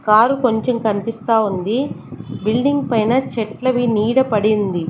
Car కొంచెం కనిపిస్తా ఉంది బిల్డింగ్ పైన చెట్లవి నీడ పడింది.